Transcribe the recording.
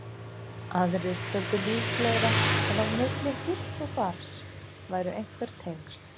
Aðrir töldu líklegra að á milli húss og barns væru einhver tengsl.